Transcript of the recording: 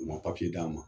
U ma d'a ma